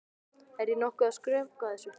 Er ég nokkuð að skrökva þessu?